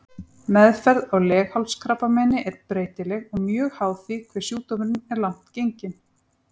Meðferð á leghálskrabbameini er breytileg og mjög háð því hve sjúkdómurinn er langt genginn.